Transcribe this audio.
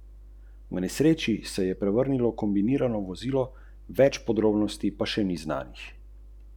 Obračun je trajal dve uri in pet minut.